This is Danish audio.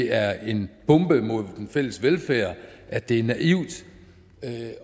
er en bombe mod den fælles velfærd at det er naivt